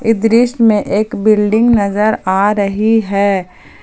इ दृश्य में एक बिल्डिंग नजर आ रही है।